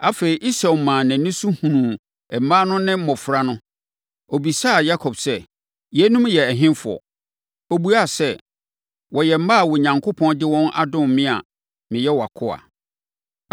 Afei, Esau maa nʼani so hunuu mmaa no ne mmɔfra no. Ɔbisaa Yakob sɛ, “Yeinom yɛ ɛhefoɔ?” Ɔbuaa sɛ, “Wɔyɛ mma a Onyankopɔn de wɔn adom me a meyɛ wʼakoa.”